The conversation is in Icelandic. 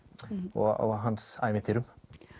og hans ævintýrum